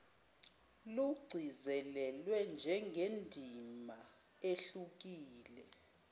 lugcizelelwa njengendima ehlukile